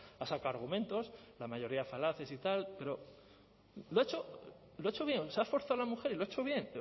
ha sacado argumentos la mayoría falaces y tal pero lo ha hecho bien se ha esforzado la mujer y lo ha hecho bien